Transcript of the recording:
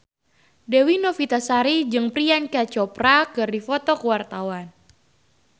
Dewi Novitasari jeung Priyanka Chopra keur dipoto ku wartawan